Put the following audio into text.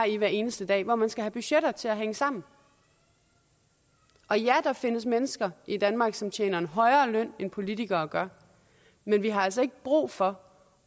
i hver eneste dag hvor man skal have budgetter til at hænge sammen og ja der findes mennesker i danmark som tjener en højere løn end politikere gør men vi har altså ikke brug for